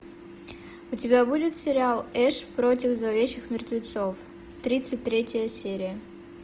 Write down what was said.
у тебя будет сериал эш против зловещих мертвецов тридцать третья серия